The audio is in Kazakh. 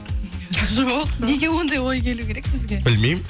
жоқ неге оңдай ой келу керек бізге білмеймін